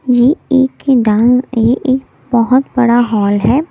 ये एक डांस ये एक बहुत बड़ा हॉल है।